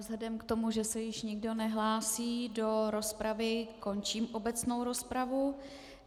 Vzhledem k tomu, že se již nikdo nehlásí do rozpravy, končím obecnou rozpravu.